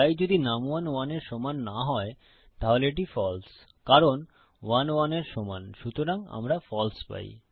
তাই যদি নুম1 1 এর সমান না হয় তাহলে এটি ফালসে কারণ 1 1 এর সমান সুতরাং আমরা ফালসে পাই